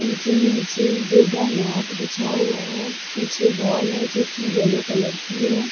इनके ही नीचे ही योगा मैट बिछाया हुआ है पीछे वॉल है जो की येलो कलर की है।